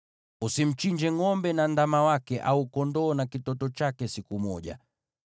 Usimchinje ngʼombe na ndama wake, au kondoo na kitoto chake siku moja.